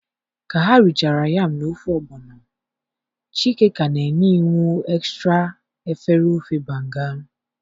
ka ha richara yam na ofe ogbono, Chike ka na-enye iwu extra efere ofe banga.